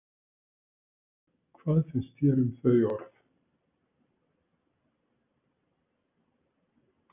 Hvað finnst þér um þau orð?